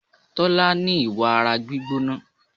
Tolani ní ìwà ara gbígbóná.